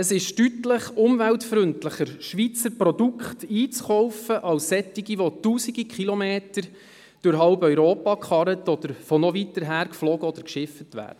Es ist deutlich umweltfreundlicher, Schweizer Produkte einzukaufen als solche, die tausende Kilometer durch halb Europa gekarrt oder von noch weiter hergeflogen oder hergeschifft wurden.